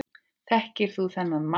Þekkir þú þennan mann?